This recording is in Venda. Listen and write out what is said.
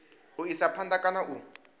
u isa phanda kana u